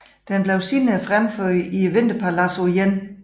Den blev senere fremført i Vinterpaladset på 1